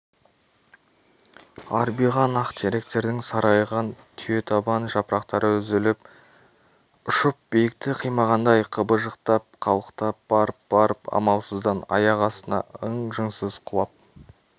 арбиған ақ теректердің сарғайған түйетабан жапырақтары үзіліп ұшып биікті қимағандай қыбыжықтап қалықтап барып-барып амалсыздан аяқ астына ың-жыңсыз құлап